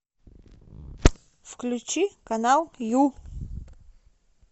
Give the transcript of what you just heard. включи канал ю